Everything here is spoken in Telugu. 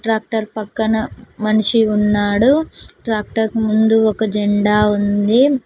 ట్రాక్టర్ పక్కన మనిషి ఉన్నాడు ట్రాక్టర్ కు ముందు ఒక జెండా ఉంది.